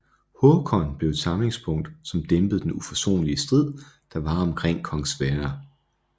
Håkon blev et samlingspunkt som dæmpede den uforsonlige strid der var omkring kong Sverre